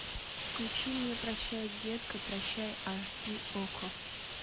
включи мне прощай детка прощай аш ди окко